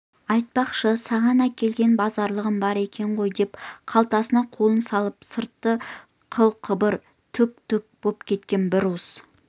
айтпақшы саған әкелген базарлығым бар екен ғой деп қалтасына қолын салып сырты қыл-қыбыр түк-түк боп кеткен бір уыс